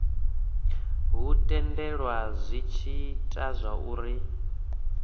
hu tendelela zwi ita zwauri